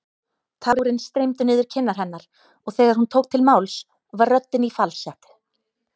Tárin streymdu niður kinnar hennar og þegar hún tók til máls var röddin í falsettu.